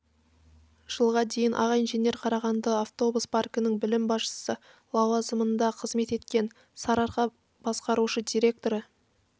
жылға дейін аға инженер қарағанды автобус паркінің бөлім басшысы лауазымында қызмет еткен сары-арқа басқарушы директоры